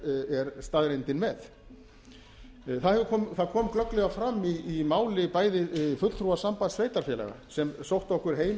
er staðreyndin með það kom glögglega fram í máli bæði fulltrúa sambands sveitarfélaga sem sóttu okkur heim